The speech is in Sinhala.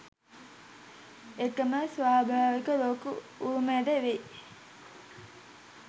එකම ස්වාභාවික ලෝක උරුමයද වෙයි.